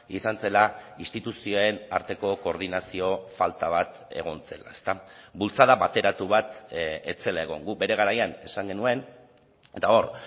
izan zela instituzioen arteko koordinazio falta bat egon zela bultzada bateratu bat ez zela egon guk bere garaian esan genuen eta hor